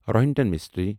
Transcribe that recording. Rohinton mystery